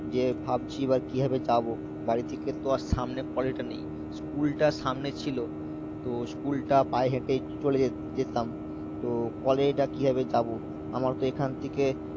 যে ভাবছি বা কিভাবে যাবো বাড়ি থেকে তো আর সামনে কলেজটা নেই, স্কুলটা সামনে ছিল তো স্কুলটা পায়ে হেঁটেই চ~ চলে যে~ যেতাম তো college টা কি ভাবে যাবো আমার তো এখান থেকে